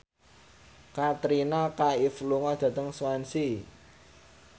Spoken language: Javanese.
Katrina Kaif lunga dhateng Swansea